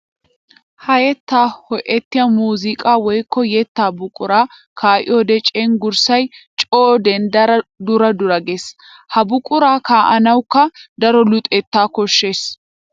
Ha yetta ho'ettiya muuziqqa woykko yetta buqura kaa'iyoode cengurssay coo denddara dura dura geesi! Ha buqura kaa'anawukka daro luxetta koshees.